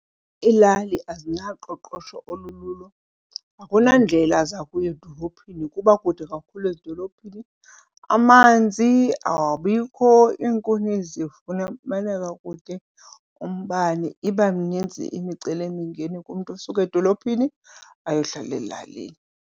Iilali azinaqoqosho olululo, akunandlela zakuya edolophini, kuba kude kakhulu edolophini. Amanzi awabikho, iinkuni zifumaneka kude, umbane iba minintsi imicelimingeni kumntu osuka edolophini ayohlala ezilalini.